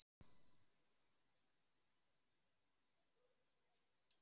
Hægt er að sjá viðtalið í heild sinni á